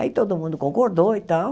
Aí todo mundo concordou e tal.